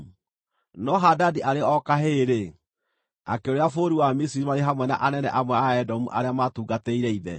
No Hadadi arĩ o kahĩĩ-rĩ, akĩũrĩra bũrũri wa Misiri marĩ hamwe na anene amwe a Edomu arĩa maatungatĩire ithe.